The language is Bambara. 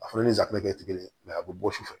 A fana ni safinɛ kɛ kelen ye a bɛ bɔ su fɛ